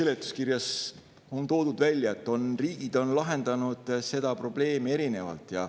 Seletuskirjas on toodud välja, et riigid on lahendanud seda probleemi erinevalt.